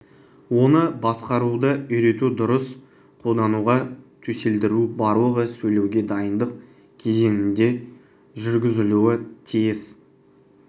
оны басқаруды үйрету дұрыс қолдануға төселдіру барлығы сөйлеуге дайындық кезеңінде жүргізілуі тиіс